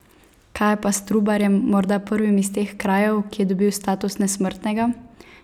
Kaj je pa s Trubarjem, morda prvim iz teh krajev, ki je dobil status nesmrtnega?